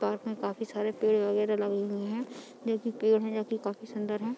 Park में काफी सारे पेड़ वैगेरह लगे हुए हैं जोकि पेड़ हैं जोकि काफी सुन्दर हैं।